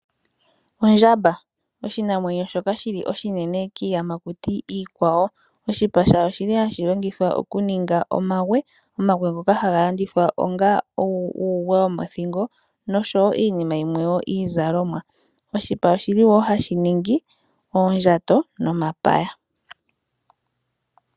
Ondjamba, oshinamwenyo shoka shili oshinene kiiyamakuti iikwawo. Oshipa shayo oshili hashilongithwa okuninga omagwe, omagwe ngoka haga landithwa onga uugwe womothingo noshowo iinima yimwe wo iizalomwa. Oshipa oshili woo hashi ningi oondjato nomapaya.